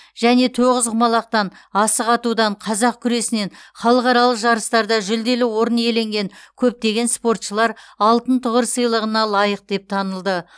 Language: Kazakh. және тоғызқұмалақтан асық атудан қазақ күресінен халықаралық жарыстарда жүлделі орын иеленген көптеген спортшылар алтын тұғыр сыйлығына лайық деп танылды